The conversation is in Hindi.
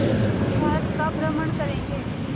पूरे भारत का भ्रमण करेंगे